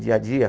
Dia a dia?